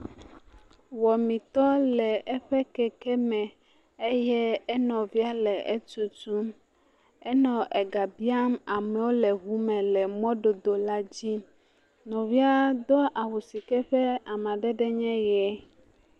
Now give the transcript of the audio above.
Wɔametɔa le eƒe keke me eye enɔvia le etutum, enɔ ega biam amewo le ʋume le mɔdodo la dzi. Nɔvia doa awu sike ƒe amadede nye me.